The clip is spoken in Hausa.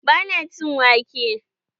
Ba na cin wake.